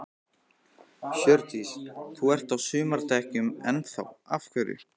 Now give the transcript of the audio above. Hjördís: Þú ert á sumardekkjunum enn þá, af hverju?